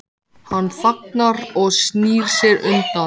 Hann þagnar og snýr sér undan.